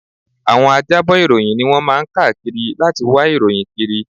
Àwọn ajábọ̀ ìròyìn ni wọ́n máa ń káàkiri láti wá ìròyìn kiri